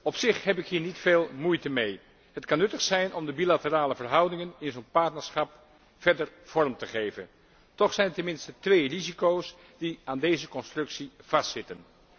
Op zich heb ik hier niet veel moeite mee. Het kan nuttig zijn om de bilaterale verhoudingen in zo'n partnerschap verder vorm te geven, toch zijn er ten minste twee risico's die aan deze constructie vastzitten.